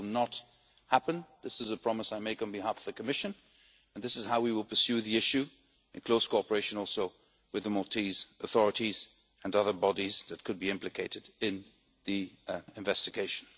This will not happen. This is a promise I make on behalf of the Commission, and this is how we will pursue the issue in close cooperation also with the Maltese authorities and other bodies that could be implicated in the investigation.